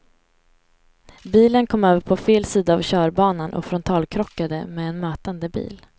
Bilen kom över på fel sida av körbanan och frontalkrockade med en mötande bil.